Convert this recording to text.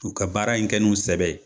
K'u ka baara in kɛ n'u sɛbɛ ye.